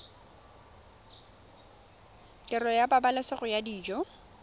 tirelo ya pabalesego ya dijo